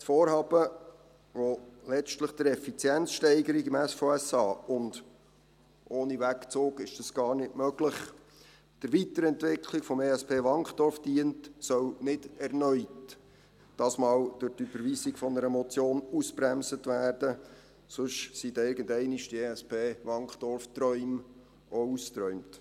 Das Vorhaben, das letztlich der Effizienzsteigerung im SVSA und – ohne Wegzug ist das gar nicht möglich – der Weiterentwicklung des Entwicklungsschwerpunkts (ESP) Wankdorf dient, soll diesmal nicht erneut durch die Überweisung einer Motion ausgebremst werden, sonst sind irgendwann die ESP-Wankdorf-Träume ausgeträumt.